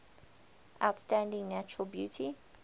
outstanding natural beauty